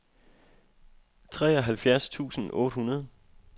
treoghalvfjerds tusind otte hundrede